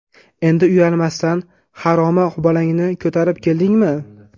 Endi uyalmasdan, haromi bolangni ko‘tarib keldingmi?!”.